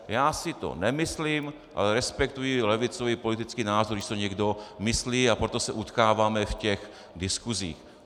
Já si to nemyslím, ale respektuji levicový politický názor, když si to někdo myslí, a proto se utkáváme v těch diskusích.